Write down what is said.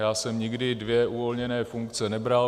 Já jsem nikdy dvě uvolněné funkce nebral.